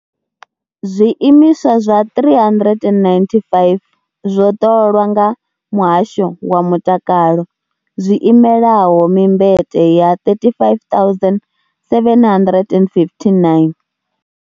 Zwiimiswa zwa 395 zwo ṱolwa nga muhasho wa mutakalo, zwi imelaho mimbete ya 35 759.